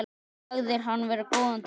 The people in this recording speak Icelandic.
Sagðir hann vera góðan dreng.